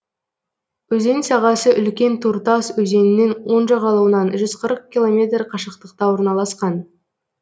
өзен сағасы үлкен туртас өзенінің оң жағалауынан жүз қырық километр қашықтықта орналасқан